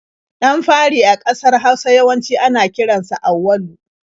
Ɗan fari a ƙasar Hausa yawanci ana kiran sa da Auwalu.